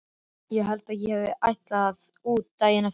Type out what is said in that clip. Ég held að ég hafi ætlað út daginn eftir.